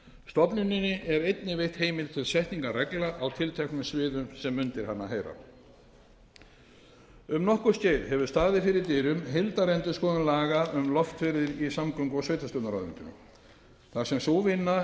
stofnuninni er einnig veitt heimild til setningar reglna á tilteknum sviðum sem undir hana heyra um nokkurt skeið hefur staðið fyrir dyrum heildarendurskoðun laga um loftferðir í samgöngu og sveitarstjórnarráðuneytinu þar sem sú vinna er